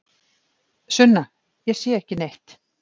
Sunna: Ég sé ekki neitt.